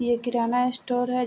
ये किराना स्टोर है।